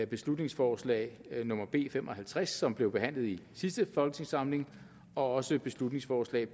beslutningsforslag nummer b fem og halvtreds som blev behandlet i sidste folketingssamling og beslutningsforslag